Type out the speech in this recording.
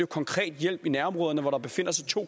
konkret hjælp i nærområderne hvor der befinder sig to